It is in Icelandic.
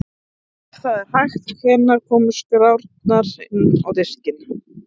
Og ef það er hægt, hvenær komu skrárnar inn á diskinn?